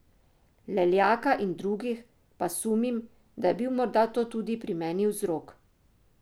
Leljaka in drugih, pa sumim, da je bil morda to tudi pri meni vzrok.